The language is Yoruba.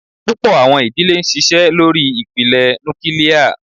Púpọ̀ àwọn ìdílé ń ṣiṣẹ́ lórí ìpìlẹ̀ núkílíà.